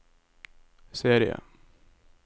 serie